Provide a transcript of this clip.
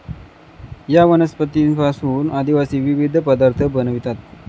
या वनस्पतींपासून आदिवासी विविध पदार्थ बनवितात.